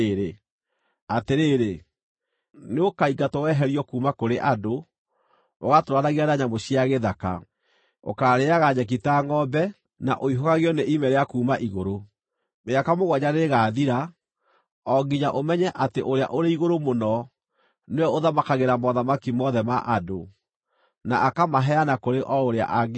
Atĩrĩrĩ, nĩũkaingatwo weherio kuuma kũrĩ andũ, ũgatũũranagie na nyamũ cia gĩthaka; ũkaarĩĩaga nyeki ta ngʼombe, na ũihũgagio nĩ ime rĩa kuuma igũrũ. Mĩaka mũgwanja nĩĩgathira, o nginya ũmenye atĩ Ũrĩa-ũrĩ-Igũrũ-Mũno nĩwe ũthamakagĩra mothamaki mothe ma andũ, na akamaheana kũrĩ o ũrĩa angĩenda.